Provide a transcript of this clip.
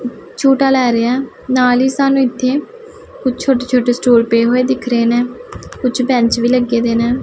ਝੂੰਟਾ ਲੈ ਰਿਹਾ ਹੈ ਨਾਲ ਹੀ ਸਾਨੂੰ ਇੱਥੇ ਕੁਛ ਛੋਟੇ ਛੋਟੇ ਸਟੂਲ ਪਏ ਹੋਏ ਦਿੱਖ ਰਹੇ ਨੇਂ ਕੁਛ ਬੈਂਚ ਵੀ ਲੱਗੇਦੇ ਨੇ।